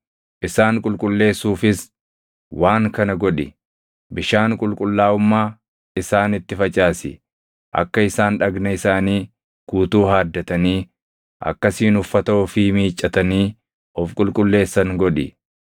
Isaan qulqulleessuufis waan kana godhi: bishaan qulqullaaʼummaa isaanitti facaasi; akka isaan dhagna isaanii guutuu haaddatanii akkasiin uffata ofii miiccatanii of qulqulleessan godhi.